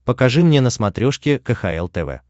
покажи мне на смотрешке кхл тв